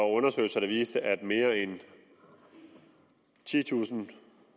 undersøgelser der viste at mere en titusind